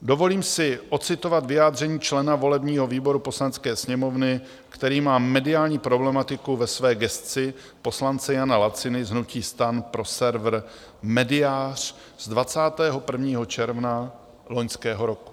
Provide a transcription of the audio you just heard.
Dovolím si ocitovat vyjádření člena volebního výboru Poslanecké sněmovny, který má mediální problematiku ve své gesci, poslance Jana Laciny z hnutí STAN pro server Médiář z 21. června loňského roku.